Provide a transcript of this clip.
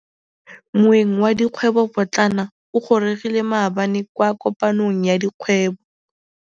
Moêng wa dikgwêbô pôtlana o gorogile maabane kwa kopanong ya dikgwêbô.